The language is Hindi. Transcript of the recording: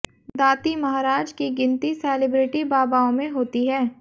दाती महाराज की गिनती सेलिब्रिटी बाबाओं में होती है